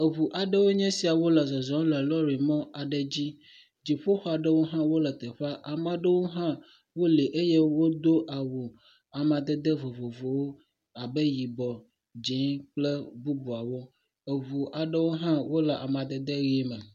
Eŋu aɖewoe nye esia wole zɔzɔm lɔ̃rimɔ aɖe dzi, dziƒoxɔ aɖewo hã wole teƒea, ame aɖewo hã wole eye wodo awu amadede vovovowo abe yibɔ, dzee kple bubuawo, eŋu aɖewo hã wole amadede ʋe me.